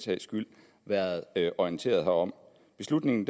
sags skyld været orienteret herom beslutningen